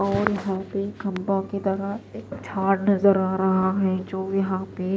और वहां पे ख़ंबा की तरह झाड़ नजर आ रहा है जो यहां पे--